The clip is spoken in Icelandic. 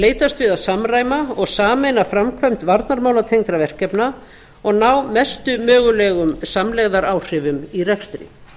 leitast við að samræma og sameina framkvæmd varnarmálatengdra verkefna og ná mestum mögulegum samlegðaráhrifum í rekstri